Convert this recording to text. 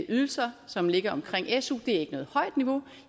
ydelser som ligger omkring su det er ikke noget højt niveau